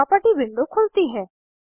property window खुलती है